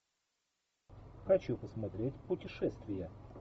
хочу посмотреть путешествия